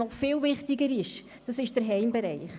Noch viel wichtiger ist Transparenz im Heimbereich.